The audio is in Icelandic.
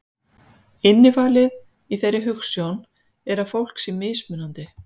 Innifalið í þeirri hugsjón er að fólk sé mismunandi.